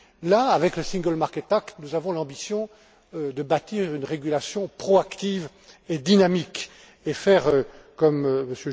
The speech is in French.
Là, avec le single market act nous avons l'ambition de bâtir une régulation proactive et dynamique, et de faire, comme M.